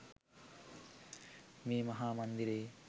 මේ මහා මන්දිරයේ